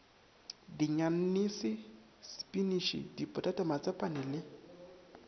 dianyanese sepiniše dipotata matsapane le